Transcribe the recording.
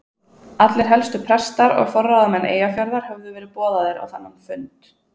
Allir helstu prestar og forráðamenn Eyjafjarðar höfðu verið boðaðir á þennan fund.